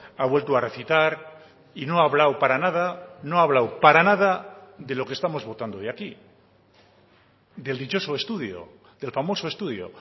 ha vuelto a recitar y no ha hablado para nada no ha hablado para nada de lo que estamos votando hoy aquí del dichoso estudio del famoso estudio